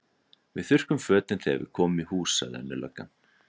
Við þurrkum fötin þegar við komum í hús, sagði önnur löggan.